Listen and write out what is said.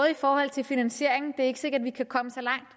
i forhold til finansieringen men er ikke sikkert at vi kan komme så langt